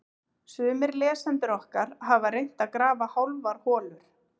Sumir lesendur okkar hafa reynt að grafa hálfar holur.